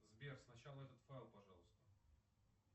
сбер сначала этот файл пожалуйста